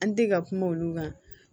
An tɛ ka kuma olu kan